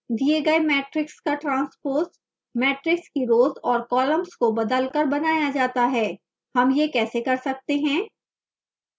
the गए matrix का transpose matrix की rows और columns को बदलकर बनाया जाता है